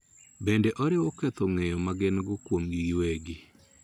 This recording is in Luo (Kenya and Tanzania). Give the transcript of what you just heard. Bende oriwo ketho ng�eyo ma gin-go kuomgi giwegi.